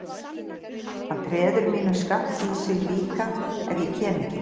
Hann treður mínum skammti í sig líka ef ég kem ekki.